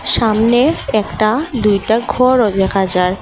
সামনে একটা দুইটা ঘরও দেখা যায়।